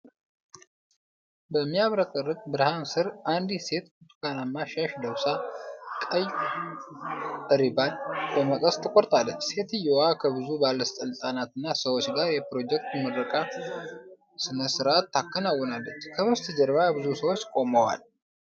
በሚያብረቀርቅ ብርሃን ስር አንዲት ሴት ብርቱካናማ ሻሽ ለብሳ ቀይ ሪባን በመቀስ ትቆርጣለች። ሴትየዋ ከብዙ ባለሥልጣናትና ሰዎች ጋር የፕሮጀክት ምረቃ ሥነ ሥርዓት ታከናውናለች። ከበስተጀርባ ብዙ ሰዎች ቆመዋል።